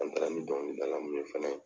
An taara ni dɔngilidala minnu ye fɛnɛ